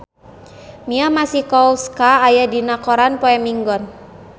Mia Masikowska aya dina koran poe Minggon